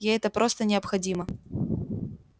ей это просто необходимо